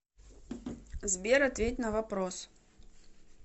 сбер ответь на вопрос